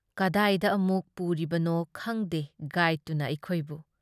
ꯀꯗꯥꯏꯗ ꯑꯃꯨꯛ ꯄꯨꯔꯤꯕꯅꯣ ꯈꯪꯗꯦ ꯒꯥꯏꯗꯇꯨꯅ ꯑꯩꯈꯣꯏꯕꯨ ꯫